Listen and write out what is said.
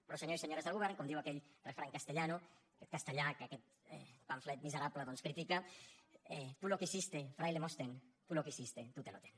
però senyors i senyores del govern com diu aquell refrany castellano castellà que aquest pamflet miserable doncs critica tú lo quisiste fraile mostén tú lo quisiste tú te lo ten